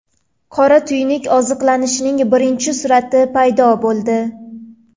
Qora tuynuk oziqlanishining birinchi surati paydo bo‘ldi.